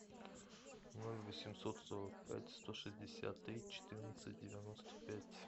ноль восемьсот сорок пять сто шестьдесят три четырнадцать девяносто пять